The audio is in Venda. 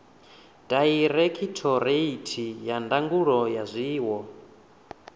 dairekhithoreithi ya ndangulo ya zwiwo